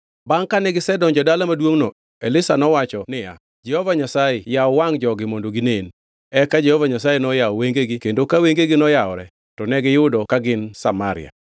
Bangʼ kane gisedonjo e dala maduongʼno, Elisha nowacho niya, “Jehova Nyasaye yaw wangʼ jogi mondo ginen.” Eka Jehova Nyasaye noyawo wengegi kendo ka wengegi noyawore, to negiyudo ka gin Samaria.